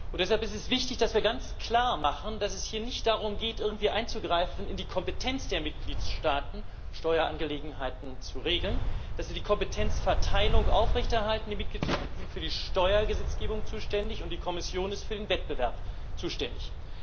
Deshalb ist es wichtig, dass wir ganz klar machen, dass es hier nicht darum geht, irgendwie in die Kompetenz der Mitgliedstaaten einzugreifen, Steuerangelegenheiten zu regeln, dass sie die Kompetenzverteilung aufrechterhalten die Mitgliedstaaten sind für die Steuergesetzgebung zuständig, und die Kommission ist für den Wettbewerb zuständig.